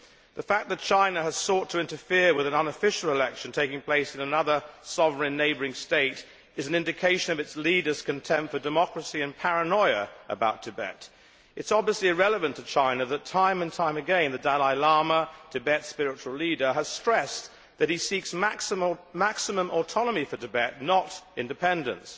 The fact that China has sought to interfere with an unofficial election taking place in another sovereign neighbouring state is an indication of its leaders' contempt for democracy and their paranoia about Tibet. It is obviously irrelevant to China that time and time again, the Dalai Lama, Tibet's spiritual leader, has stressed that he seeks maximum autonomy for Tibet, not independence.